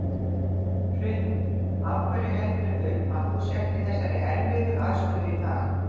Hrund: Af hverju heldurðu að þú sért í þessari erfiðu stöðu í dag?